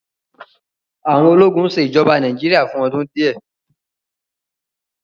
àwọn ólogun ṣe ijọba Nàìjíríà fun ọdun diẹ